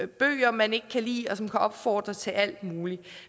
bøger man ikke kan lide og som kan opfordre til alt muligt